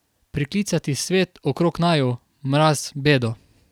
Priklicati svet okrog naju, mraz, bedo.